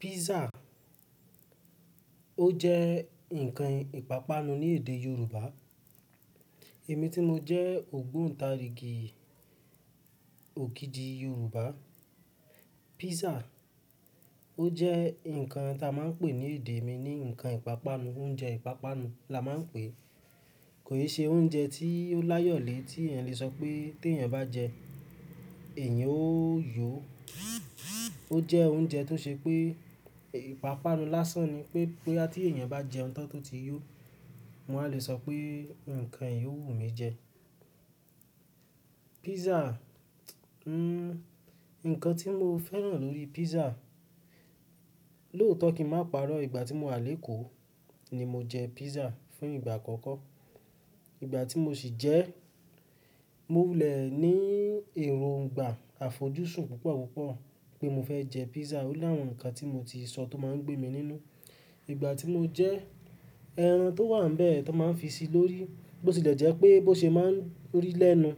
Pizza ó jẹ́ ǹkan ìpápánu ní èdè Yoruba. Èmi tí mo jẹ́ ògbóntarìgì òkìdi Yoruba. Pizza ó jẹ́ ǹkan tí a máa ń pè ní èdè mi ní ǹkan ìpápánu, oúnjẹ ìpápánu la máa ń pè é. Kò ṣe oúnjẹ tí ó láyọ̀lé tí èèyàn lè sọ pé tí èèyàn bá jẹ é, èèyàn ó yó. Ó jẹ́ oúnjẹ tó ṣe pé ìpápánu lásán ni pé boya ti èèyàn bá jẹun tán tó ti yó, mo wá lè sọ pé ǹkan yìí ó wù mí jẹ. Pizza, ẹhn, ǹkan tí mo fẹ́ràn lórí pizza, lóòtọ́ kí ń máa parọ́ ìgbà tí mo wà lékòó ni mo jẹ pizza fún ìgbà àkọ́kọ́. Ìgbà tí mo sì jẹ ẹ́, mo lẹ̀ ní èròǹgbà àfojúsùn púpọ̀ púpọ̀ pé mo fẹ́ jẹ pizza. Ó la àwọn ǹkan tí mo ti sọ tó máa ń gbé mi nínú. Ìgbà tí mo jẹ ẹ́, ẹran tó wà nbẹ̀ tó n máa ń fi sí lórí, bó ti lè jẹ́ pé bó ṣe máa ń rí lẹ́nu,